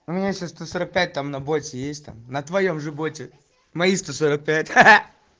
у меня сейчас сто сорок пять там на боте есть там на твоём боте мои сто сорок пять